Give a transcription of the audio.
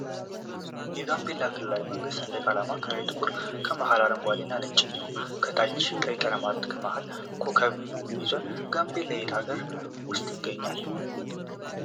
የጋምቤላ ክልላዊ መንግስት ሰንደቅዓላማ ከላይ ጥቁር ከመሀል አረንጓዴ እና ነጭ እንዲሁም ከታች ቀይ ቀለማት እና ከመሀል ኮኮብ ይዟል። ጋምቤላ የት ሀገር ውስጥ ይገኛል?